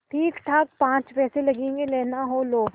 ठीकठाक पाँच पैसे लगेंगे लेना हो लो